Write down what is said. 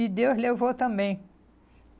E Deus levou também.